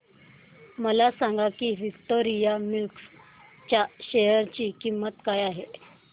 हे सांगा की विक्टोरिया मिल्स च्या शेअर ची किंमत काय आहे